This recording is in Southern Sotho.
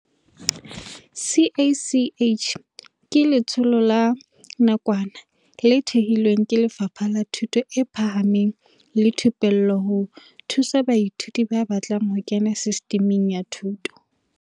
CACH ke letsholo la nakwana le thehilweng ke Lefapha la Thuto e Phahameng le Thupello ho thusa baithuti ba batlang ho kena Sistiming ya Thuto